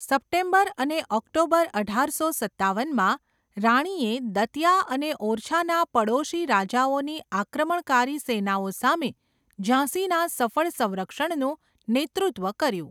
September અને October અઢારસો સત્તાવનમાં, રાણીએ દતિયા અને ઓરછાના પડોશી રાજાઓની આક્રમણકારી સેનાઓ સામે ઝાંસીના સફળ સંરક્ષણનું નેતૃત્વ કર્યું.